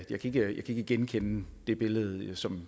ikke genkende det billede som